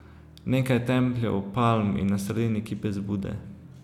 Nekaj templjev, palm in na sredini kipec Bude.